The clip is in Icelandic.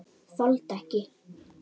Þoldi ekki.